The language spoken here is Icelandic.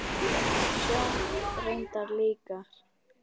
Sjóni reyndar líka.